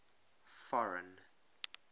foreign